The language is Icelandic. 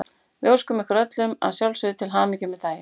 Við óskum þeim öllum að sjálfsögðu til hamingju með daginn.